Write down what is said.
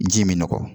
Ji bɛ nɔgɔn